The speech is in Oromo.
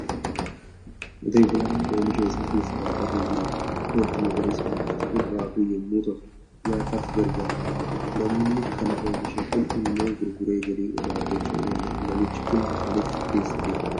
Qotee bulaa oomisha isaa keessa dhaabbatee jirudha. Wanti magariisni mu'atu kun raafuu yommuu ta'u, nyaataaf garagaara. Namni kana oomishe Kun immoo gurguree galii irraa argachuu ni danda'a. Namichi Kun maaliif keessa deema?